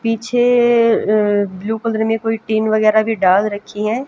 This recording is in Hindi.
पीछे अं ब्ल्यू कलर में कोई टीन वगैरह भी डाल रखी है।